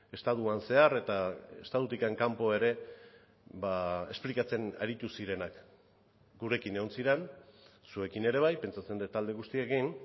estatuan zehar eta estatutik kanpo ere esplikatzen aritu zirenak gurekin egon ziren zuekin ere bai pentsatzen dut alde guztiekin